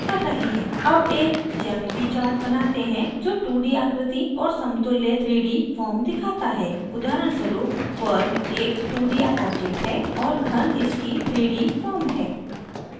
अब एक geometry chart बनाते हैं जो 2d आकृति और समतुल्य 3d form दिखाता है उदाहरणस्वरूप वर्ग एक 2d object है और घन इसकी 3d form है